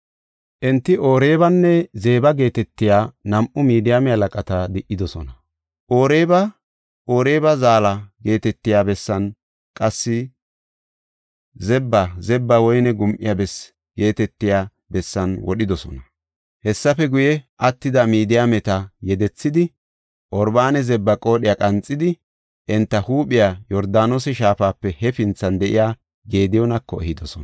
Enti Oreebanne Zeba geetetiya nam7u Midiyaame halaqata di77idosona. Oreeba, “Oreeba Zaalla” geetetiya bessan, qassi Zeba, “Zeba Woyne Gum77iya Bessi” geetetiya bessan wodhidosona. Hessafe guye, attida Midiyaameta yedethidi, Oreebanne Zeba qoodhiya qanxidi enta huuphiya, Yordaanose shaafape hefinthan de7iya Gediyoonako ehidosona.